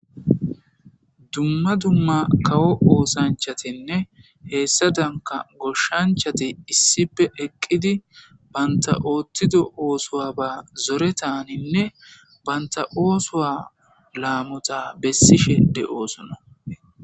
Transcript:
dumma dumma kawo oosanchatinne heessadanka goshshanchati issipe eqqidi banta oottido oosuwaba zoretaninne banta oosuwa laamota bessishe de'osona